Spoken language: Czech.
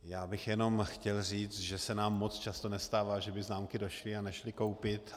Já bych jenom chtěl říct, že se nám moc často nestává, že by známky došly a nešly koupit.